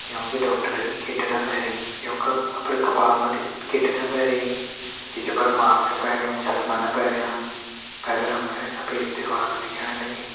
यहाँ का डॉक्टरन किट न पैंरी योंका अपरी कपाल मा किट न पैंरी घिच्चा पर मास्क पैरयुं चश्मा न पैरयां पैथर हम त सफ़ेद दीवाल दिखेण लगीं।